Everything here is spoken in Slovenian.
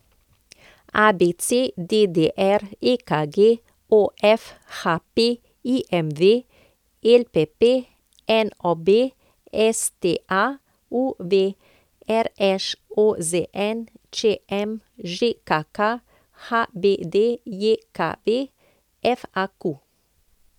ABC, DDR, EKG, OF, HP, IMV, LPP, NOB, STA, UV, RŠ, OZN, ČM, ŽKK, HBDJKV, FAQ.